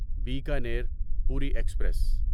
Bikaner Puri express